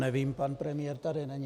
Nevím - pan premiér tu není?